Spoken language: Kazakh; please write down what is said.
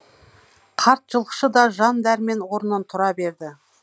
қарт жылқышы да жан дәрмен орнынан тұра берді